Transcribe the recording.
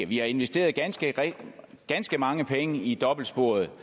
vi har investeret ganske ganske mange penge i dobbeltsporet